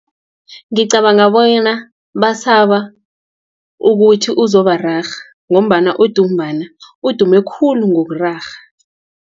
Ngicabanga bonyana, basaba ukuthi uzobararha, ngombana udubumbana udume khulu ngokurarhwa.